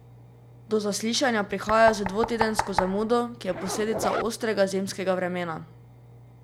Do zaslišanja prihaja z dvotedensko zamudo, ki je posledica ostrega zimskega vremena.